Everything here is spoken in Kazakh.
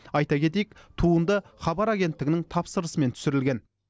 айта кетейік туында хабар агенттігінің тапсырысымен түсірілген